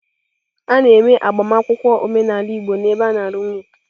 A na-eme agbamakwụkwọ omenala igbo n'ebe a na-alụ nwunye.